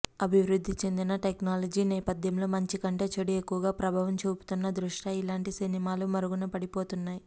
అభివృద్ధి చెందిన టెక్నాలజీ నేపథ్యంలో మంచి కంటే చెడు ఎక్కువగా ప్రభావం చూపుతున్న దృష్ట్యా ఇలాంటి సినిమాలు మరుగున పడిపోతున్నాయి